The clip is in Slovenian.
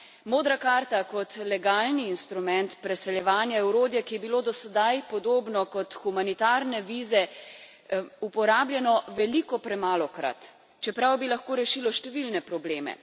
Modra karta kot legalni instrument preseljevanja je orodje, ki je bilo do sedaj podobno kot humanitarne vize uporabljeno veliko premalokrat, čeprav bi lahko rešilo številne probleme.